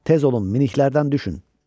Tez olun miniklərdən düşün.